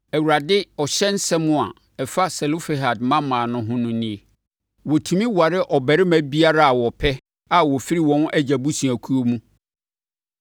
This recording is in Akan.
Awurade ɔhyɛ nsɛm a ɛfa Selofehad mmammaa no ho no nie: wɔtumi ware ɔbarima biara a wɔpɛ a ɔfiri wɔn agya abusuakuo mu.